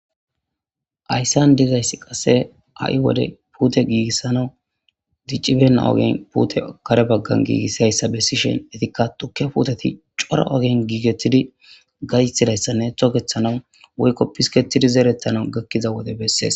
Haysan dizaysi qase ha'i wode pute gigisanawu dic'bena ogeni putiya kare bagan gigisiyaysa besishenka tuke puteta c'ora ogeni gigetidi gaytidaysane toketanaw gakida wode beses.